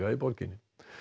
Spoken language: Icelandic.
borginni